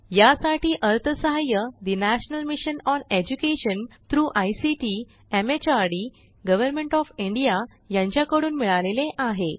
यासाठी अर्थसहाय्य national mission on education through ICT MHRD government of India यांच्याकडून मिळालेले आहे